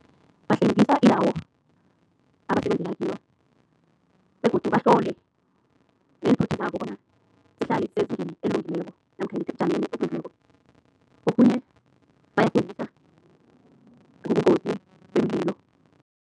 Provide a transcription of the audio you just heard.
Bahlwengisa indawo abasebenzela kiyo begodu bahlole neenthuthi zabo bona zihlale zisengeni elungileko namkha ebujameni obulungileko. Okhunye bayafundisa ngobungozi bomlilo.